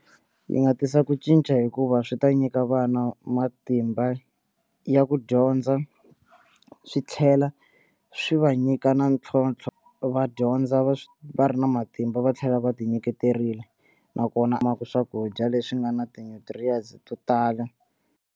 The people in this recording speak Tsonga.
Yi nga tisa ku cinca hikuva swi ta nyika vana matimba ya ku dyondza swi tlhela swi va nyika na ntlhontlho va dyondza va swi va ri na matimba va tlhela va tinyiketerile nakona swakudya leswi nga na ti-nutrients to tala.